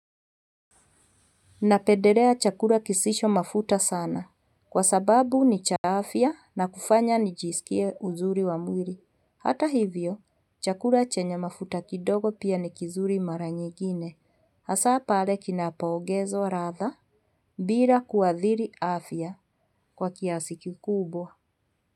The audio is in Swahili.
Napendelea chakula kisisho mafuta sana. Kwa sababu ni cha afya na kufanya nijisikia uzuri wa mwili Hata hivyo, chakula chenye mafuta kidogo pia ni kizuri mara nyingine. Hasa pale kinapoongezwa radhaa. Bila kuadhiri afya. Kwa kiasi kikubwa.